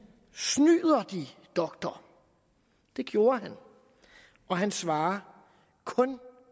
snyder de doktor det gjorde han og han svarer kun